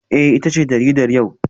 Eh ita ce jaridar yau